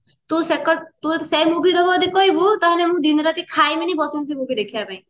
ତୁ ଯଦି ସେ movie ଦେଖିବାକୁ କହିବୁ ନା ତାହାଲେ ମୁ ଦିନରାତି ଖାଇବିନି ବସିବସି ଦେଖିବା ପାଇଁ